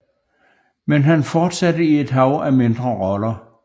Men han fortsatte i et hav af mindre roller